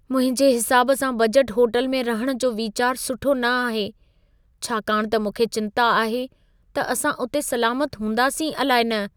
मुंहिंजे हिसाब सां बजट होटल में रहण जो वीचार सुठो न आहे, छाकाण त मूंखे चिंता आहे त असां उते सलामत हूंदासीं अलाइ न।